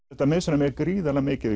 þetta misræmi er gríðarlega mikið